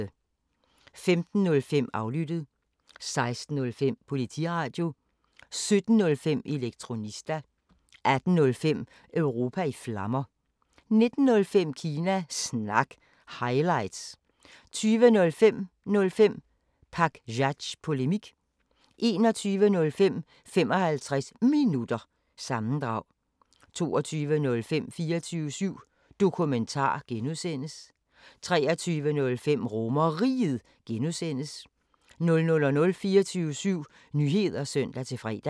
15:05: Aflyttet 16:05: Politiradio 17:05: Elektronista 18:05: Europa i Flammer 19:05: Kina Snak – highlights 20:05: 05 Pakzads Polemik 21:05: 55 Minutter – sammendrag 22:05: 24syv Dokumentar (G) 23:05: RomerRiget (G) 00:00: 24syv Nyheder (søn-fre)